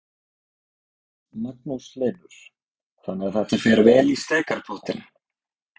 Magnús Hlynur: Þannig að þetta fer vel í steikarpottinn?